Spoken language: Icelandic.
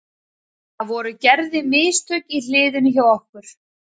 Það voru gerði mistök í hliðinu hjá okkur.